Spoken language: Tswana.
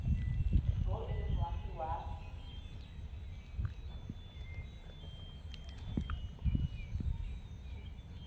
bo e le moagi wa